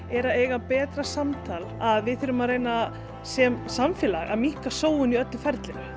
er að eiga betra samtal að við þurfum að reyna sem samfélag að minnka sóun í öllu ferlinu